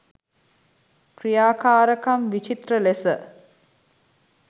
ක්‍රියාකාරකම් විචිත්‍ර ලෙස